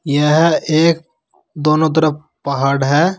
यह एक दोनों तरफ पहाड़ है।